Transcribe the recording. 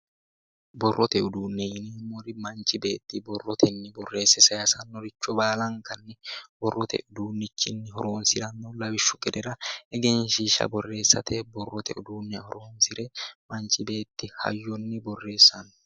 borrote uduunne yineemmori manchi beetti borrotenni borreesse sayiisannoricho baalankanni borrote uduunnichi horonsiranno lawishshu gedera egenshshiishsha borreessate borrote uduunne horonsire manchi beetti hayyonni borreessanno.